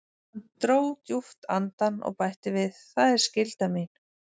Hann dró djúpt andann og bætti við: Það er skylda mín.